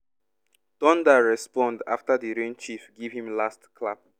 thunder respond after the rain chief give him last clap.